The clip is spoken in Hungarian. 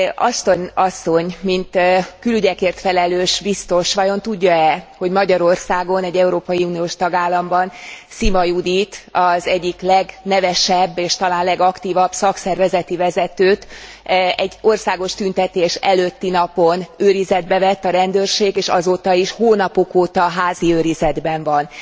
Ashton asszony mint külügyekért felelős biztos vajon tudja e, hogy Magyarországon, egy Európai Uniós tagállamban Szima Juditot, az egyik legnevesebb, s talán legaktívabb szakszervezeti vezetőt egy országos tüntetés előtti napon őrizetbe vette a rendőrség, és azóta is hónapok óta házi őrizetben van.